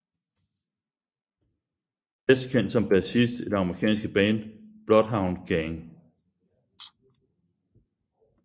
Bedst kendt som bassist i det amerikanske band Bloodhound Gang